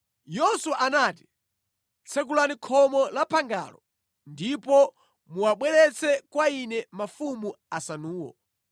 Yoswa anati, “Tsekulani khomo la phangalo ndipo muwabweretse kwa ine mafumu asanuwo.”